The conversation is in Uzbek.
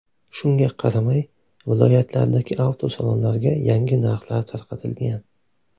Shunga qaramay, viloyatlardagi avtosalonlarga yangi narxlar tarqatilgan.